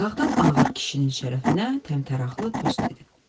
Dağdan ağır kişinin şərəfinə təmtəraqlı tost dedi.